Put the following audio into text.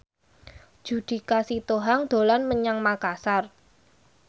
Judika Sitohang dolan menyang Makasar